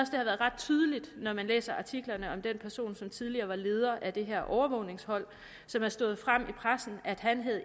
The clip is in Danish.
har været ret tydeligt når man læser artiklerne om den person som tidligere var leder af det her overvågningshold og som er stået frem i pressen at han